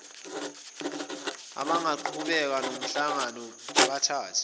abangaqhubeka nomhlangano bathathe